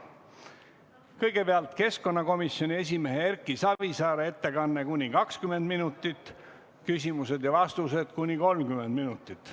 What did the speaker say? Kõigepealt keskkonnakomisjoni esimehe Erki Savisaare ettekanne kuni 20 minutit, küsimused ja vastused kuni 30 minutit.